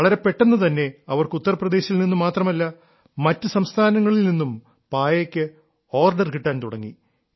വളരെ പെട്ടെന്നു തന്നെ അവർക്ക് ഉത്തർപ്രദേശിൽ നിന്നു മാത്രമല്ല മറ്റു സംസ്ഥാനങ്ങളിൽ നിന്നും പായയ്ക്ക് ഓർഡർ കിട്ടാൻ തുടങ്ങി